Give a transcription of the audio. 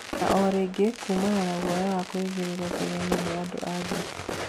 Na ũrĩngĩ kuumana na guoya wa kũigereruo kigenyo nĩ andũ a nja